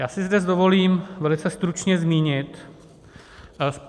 Já si zde dovolím velice stručně zmínit...